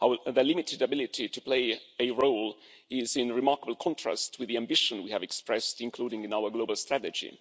The limited ability to play a role is in remarkable contrast with the ambition we have expressed, including in our global strategy.